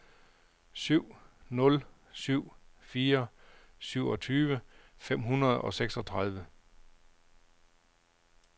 syv nul syv fire syvogtyve fem hundrede og seksogtredive